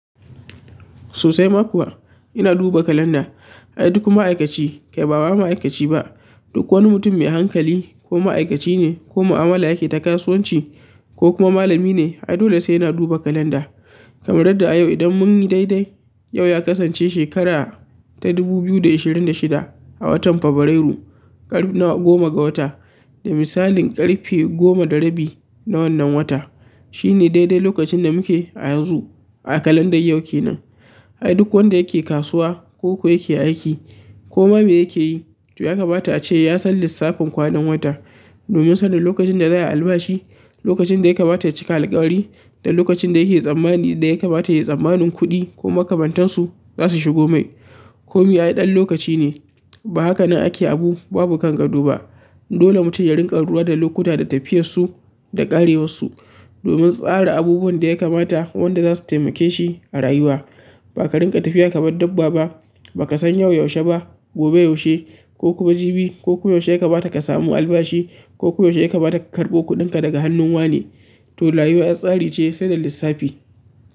Sosai ma kuwa ina duba kalanda. Ai duk ma'aikaci kai ba ma ma'aikaci ba, duk wani mutum mai hankali ko ma'aikaci ne ko mu'amala yake ta kasuwanci ko kuma malami ne ai dole sai yana duba kalanda. Kamar yadda a yau idan mun yi daidai yau ya kasance shekara ta dubu biyu da ashirin da shida a watan Fabrairu ƙarin nawa goma ga wata da misalin ƙarfe goma da rabi na wannan wata. Shi ne daidai lokacin da muke a yanzu a kalandar yau kenan. Ai duk wanda yake kasuwa ko ko yake aiki koma me yake yi to ya kamata ace yasan lissafin kwanan wata domin sanin lokacin da za a yi albashi, lokacin da ya kamata ya cika alkawari da lokacin da yake tsammani da ya kamata yayi tsammanin kuɗi ko makamantansu za su shigo mai. Komi ai ɗan lokaci ne ba haka nan ake abu babu kangado ba. Dole mutum ya rinƙa lura da lokuta da tafiyar su da ƙarewar su domin tsara abubuwan da ya kamata wanda za su taimake shi a rayuwa. Ba ka rinƙa tafiya kamar dabbaba, ba ka san yau yaushe ba, gobe yaushe ko kuma jibi ko kuma yaushe ya kamata ka samu albashi ko kuma yaushe ya kamata ka karɓo kuɗinka daga hannun wane to rayuwa 'yan tsari ce sai da lissafi.